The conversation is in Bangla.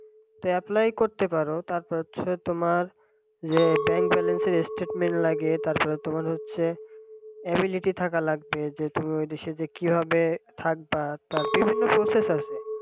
apply করতে পারো তারপর হচ্ছে তোমার ইয়ে bank balance র statement লাগে তারপরে তোমার হচ্ছে ability থাকা লাগবে যে তুমি ওই দেশে গিয়ে কিভাবে থাকবা তা বিভিন্ন process আছে